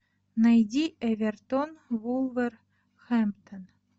найди эвертон вулверхэмптон